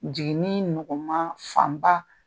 Jiginni nɔgɔman fan ba